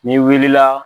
N'i wulila